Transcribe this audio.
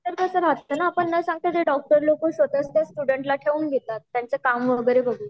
कस असते न आपण न सांगता ते डॉक्टर लोक स्वतः त्या स्टूडेंटला ठेउन घेतात त्यांचे काम वैगेरे बघून